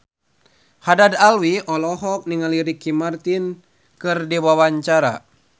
Haddad Alwi olohok ningali Ricky Martin keur diwawancara